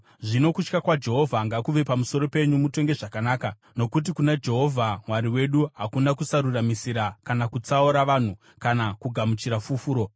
Zvino kutya Jehovha ngakuve pamusoro penyu mutonge zvakanaka, nokuti kuna Jehovha Mwari wedu hakuna kusaruramisira kana kutsaura vanhu kana kugamuchira fufuro.”